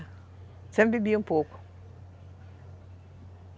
Sempre bebia um pouco.